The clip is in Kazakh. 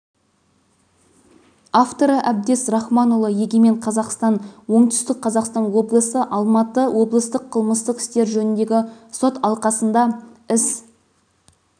авторы әбдез рахманұлы егемен қазақстан оңтүстік қазақстан облысы алматы облыстық қылмыстық істер жөніндегі сот алқасында іс